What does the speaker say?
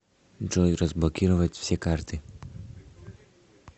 джой разблокировать все карты